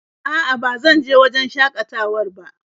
A'a ba zan je wajen shakatawar ba.